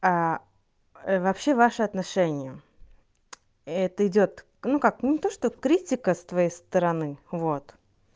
вообще ваши отношения это идёт ну как не то что критика с твоей стороны вот